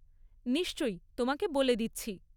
নিশ্চয়ই, তোমাকে বলে দিচ্ছি।